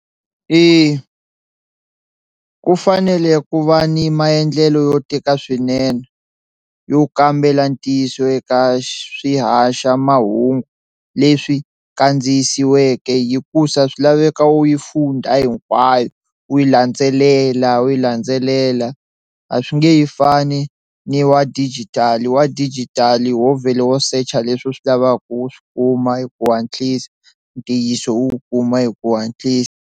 Eya ku fanele ku va ni maendlelo yo tika swinene yo kambela ntiyiso eka swihaxamahungu leswi kandziyisiweke hikusa swi laveka wu yi funda hinkwayo u yi landzelela wu yi landzelela a swi nge he fani ni wa digital wa digital ho vhela wo search a leswi u swi lavaka u swi kuma hi ku hatlisa ntiyiso u wu kuma hi ku hatlisa.